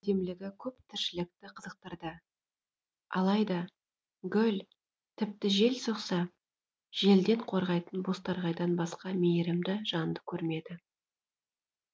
оның әдемілігі көп тіршілікті қызықтырды алайда гүл тіпті жел соқса желден қорғайтын бозторғайдан басқа мейірімді жанды көрмеді